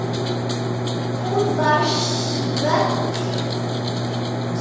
Hún var svöl.